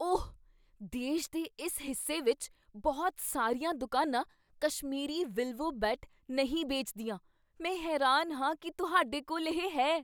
ਓਹ! ਦੇਸ਼ ਦੇ ਇਸ ਹਿੱਸੇ ਵਿੱਚ ਬਹੁਤ ਸਾਰੀਆਂ ਦੁਕਾਨਾਂ ਕਸ਼ਮੀਰੀ ਵਿਲਵੋ ਬੈਟ ਨਹੀਂ ਵੇਚਦੀਆਂ। ਮੈਂ ਹੈਰਾਨ ਹਾਂ ਕੀ ਤੁਹਾਡੇ ਕੋਲ ਇਹ ਹੈ।